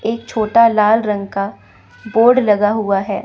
एक छोटा लाल रंग का बोर्ड लगा हुआ है।